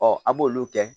an b'olu kɛ